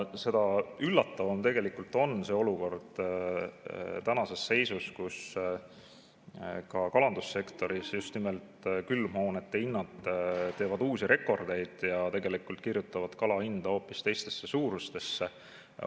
Seda üllatavam on see olukord tänases seisus, kus ka kalandussektoris just nimelt külmhoonete hinnad teevad uusi rekordeid ja kirjutavad kala hinna hoopis teistesse suurustesse.